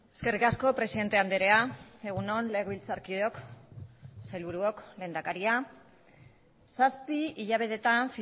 eskerrik asko presidente andrea egun on legebiltzarkideok sailburuok lehendakaria zazpi hilabetetan